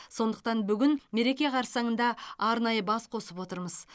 сондықтан бүгін мереке қарсаңында арнайы бас қосып отырмыз